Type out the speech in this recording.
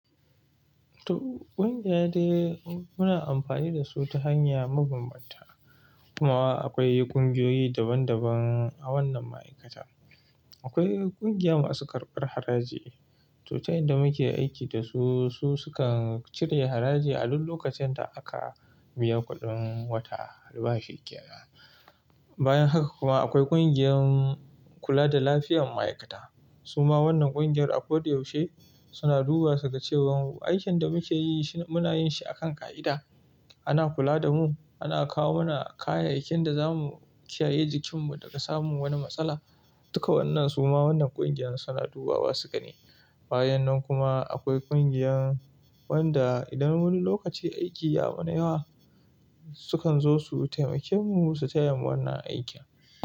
To ƙungiya dai muna amfani da su ta hanya mabanbanta. Kuma akwai ƙungiyoyi daban daban a wannan ma'aikata. Akwai ƙungiya masu karɓar haraji, to ta yanda muke aiki da su, su suka cire haraji a duk lokacin da aka biya kuɗin wata albashi kenan. Bayan haka kuma akwai ƙungiyar kula da lafiyar ma'aikata. Suma wannan ƙungiyar a kodayaushe suna duba su ga cewan aikin da muke yi shi muna yin shi akan ƙa'ida. Ana kula da mu, ana kawo mana kayayyakin da za mu kiyaye jikin mu daga samun wani matsala. Duka wannan suma wannan ƙungiyar suna dubawa su ga ni. Bayan nan kuma akwai ƙungiyar wanda idan wani lokaci aiki ya mana yawa, su kan zo su taimake mu su taya mu wannan aikin.